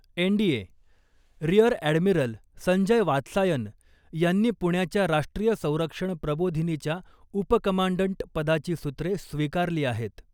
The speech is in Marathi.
N D A, rear admiral Sanjay Vatsayan यांनी पुण्याच्या राष्ट्रीय संरक्षण प्रबोधिनीच्या उपकमांडंट पदाची सूत्रे स्वीकारली आहेत .